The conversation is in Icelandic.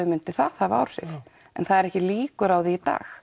myndi það hafa áhrif en það eru ekki líkur á því í dag